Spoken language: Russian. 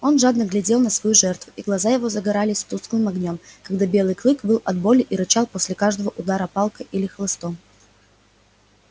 он жадно глядел на свою жертву и глаза его загорались тусклым огнём когда белый клык выл от боли и рычал после каждого удара палкой или хлыстом